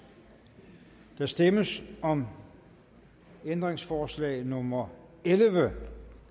der stemmes om ændringsforslag nummer elleve